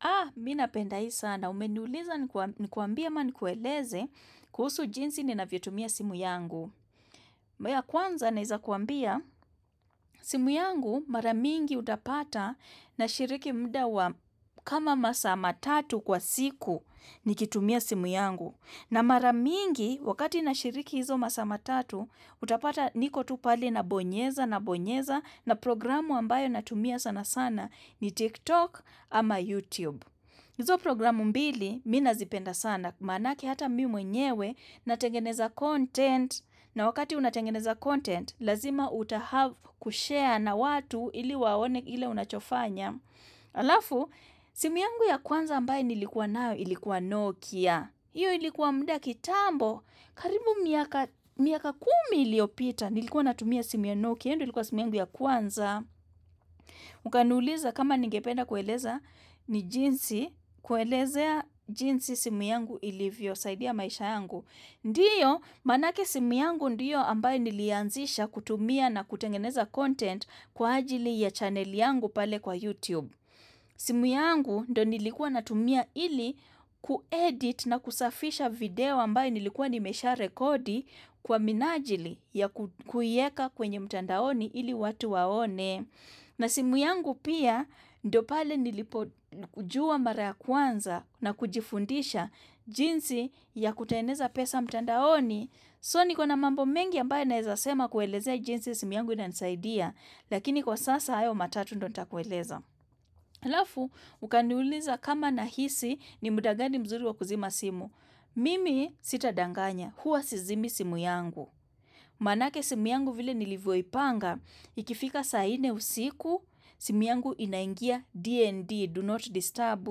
Ah, mimi napenda hii sana, umeniuliza nikuambie ama nikueleze kuhusu jinsi ninavyotumia simu yangu. Ya kwanza naeza kuambia, simu yangu mara mingi utapata nashiriki muda wa kama masa matatu kwa siku nikitumia simu yangu. Na mara mingi wakati nashiriki hizo masaa matatu, utapata niko tu pale nabonyeza nabonyeza na programu ambayo natumia sana sana ni TikTok ama YouTube. Hizo programu mbili, mimi nazipenda sana, manake hata mimi mwenyewe, natengeneza content, na wakati unatengeneza content, lazima utahave kushare na watu ili waone ile unachofanya. Alafu, simu yangu ya kwanza ambaye nilikuwa nayo, ilikuwa Nokia. Iyo ilikuwa muda kitambo, karibu miaka miaka kumi iliyopita, nilikuwa natumia simu ya Nokia, iyo ndio ilikuwa simu yangu ya kwanza. Ukaniuliza kama ningependa kueleza ni jinsi, kuelezea jinsi simu yangu ilivyosaidia maisha yangu. Ndio, manake simu yangu ndiyo ambaye nilianzisha kutumia na kutengeneza content kwa ajili ya channel yangu pale kwa YouTube. Simu yangu ndio nilikuwa natumia ili kuedit na kusafisha video ambaye nilikuwa nimesha rekodi kwa minajili ya kuieka kwenye mtandaoni ili watu waone. Na simu yangu pia, ndio pale nilipo kujua mara kwanza na kujifundisha jinsi ya kutengeneza pesa mtandaoni. So nikona mambo mengi ambaye naezasema kuelezea jinsi ya simu yangu inanisaidia, lakini kwa sasa hayo matatu ndio nitakueleza. Alafu, ukaniuliza kama nahisi ni muda gani mzuri wa kuzima simu. Mimi sitadanganya, huwa sizimi simu yangu. Manake simu yangu vile nilivyoipanga, ikifika saa nne usiku, simu yangu inaingia D&D, do not disturb,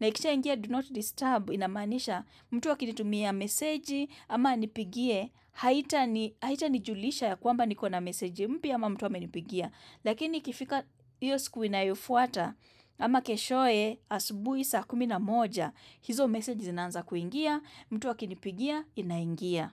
na ikisha ingia do not disturb, inamanisha mtu akinitumia meseji ama anipigie, haitani haitanijulisha ya kwamba nikona meseji mpya ama mtu amenipigia, lakini ikifika iyo siku inayofuata ama keshoye asubuhi saa kumi na moja, hizo meseji zinanza kuingia, mtu akinipigia inaingia.